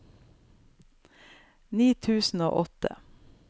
ni tusen og åtte